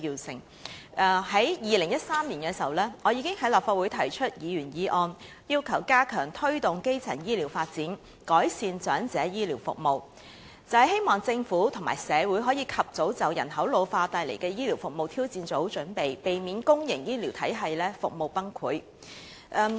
早於2013年，我已經在立法會提出"加強推動基層醫療發展，改善長者醫療服務"的議員議案，希望政府及社會可以及早就人口老化所帶來的醫療服務挑戰做好準備，避免公營醫療體系服務崩潰。